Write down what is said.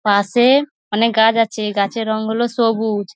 পাশে অনেক গাছ আছে। গাছের রং হল সবুজ ।